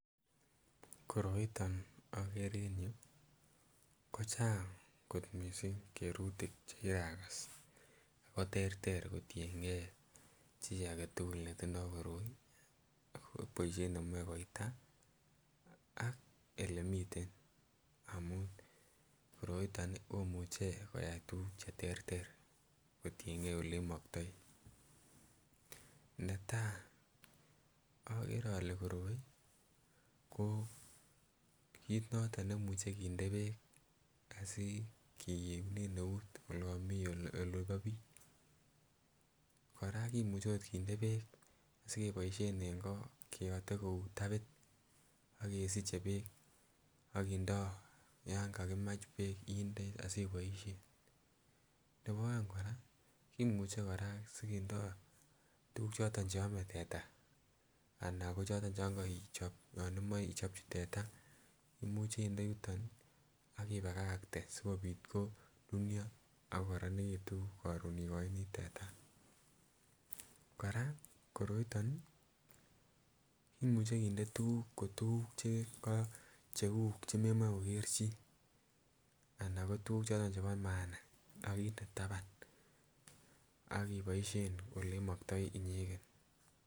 Koroiton okere en yuu kochang kot mising kerutik chekirakas ak ko terter kotieng'e chii aketukul netindo koroi boishet nemoe koita anan elemiten amun koroiton komuche koyai tukuk cheterter kotieng'e olemoktoi, netaa okere olee koroi ko kiit noton nekimuche kinde beek asikiunen eut olon mii olekabit, kora kimuche kinde beek sikeboishen en koo keyote kou tabit ak kesiche beek ak kindoo yoon kakimach beek indee asiboishen, nebo oeng kora kimuche kora sikindo tukuk choton cheome tetaa ana ko choton chon koichob chon imoe ichopchi teta imuche inde yuton ak ibakakte sikobit konunuo ak kokoronekitu yoon ikoini teta, kora koroiton kimuche kinde tukuk ko tukuk che ko cheuu chememoe koker chii anan ko tukuk choton chebo maana ak inde taban ak iboishen olemoktoi inyeken.